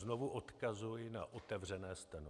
Znovu odkazuji na otevřené steno.